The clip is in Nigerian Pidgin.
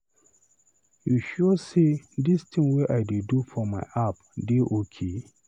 You sure say this thing wey I dey do for my app dey okay?